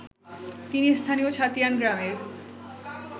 তিনি স্থানীয় ছাতিয়ান গ্রামের